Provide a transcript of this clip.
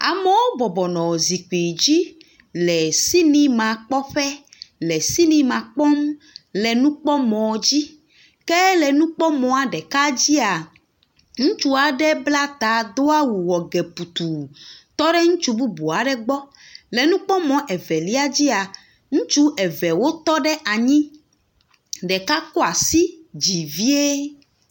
Amewo bɔbɔ nɔ zikpui dzi le sinimakpɔƒe le sinima kpɔm le nukpɔmɔ dzi ke le nukpɔmɔ ɖeka dzia, ŋutsu aɖe bla ta do awu wɔ ge putuu tɔ ɖe ŋutsu bubu aɖe gbɔ. Le nukpɔme evelia dzia, ŋutse eve wotɔ ɖe anyi ɖeka kɔ asi yi dzi vie.